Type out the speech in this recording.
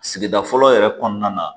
Sigida fɔlɔ yɛrɛ kɔnɔna na